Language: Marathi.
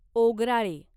ओगराळे